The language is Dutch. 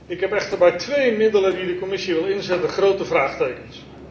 Ik heb echter bij twee middelen die de Commissie wil inzetten grote vraagtekens.